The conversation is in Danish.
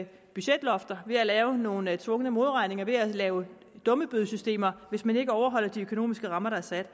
budgetlofter ved at lave nogle tvungne modregninger ved at lave dummebødesystemer hvis man ikke overholder de økonomiske rammer der er sat